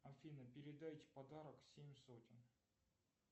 афина передайте подарок семь сотен